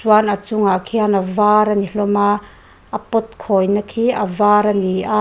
chuan a chungah khian a var a ni hlawm a a pot khawina khi a var a ni a.